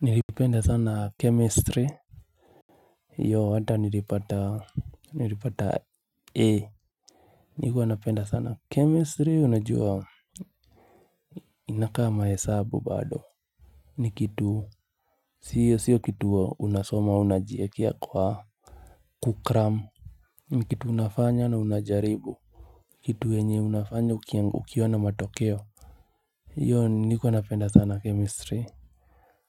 Nilipenda sana chemistry Yo hata nilipata nilipata ee. Nikuwa napenda sana chemistry unajua inaka mahesabu bado. Nikitu siyo siyo kitu unasoma unajiekea kwa kukramu. Ni kitu unafanya na unajaribu, kitu yenye unafanya ukiona matokeo nilikuwa napenda sana chemistry.